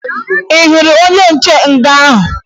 Ị hụrụ onye nche nga ahụ?